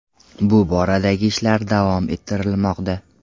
Bu boradagi ishlar davom ettirilmoqda.